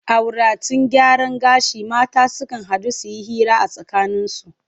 A wuraten gyaran gashi mata sukan haɗu su yi hira a tsakaninsu.